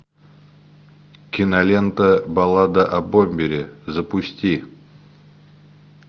кинолента баллада о бомбере запусти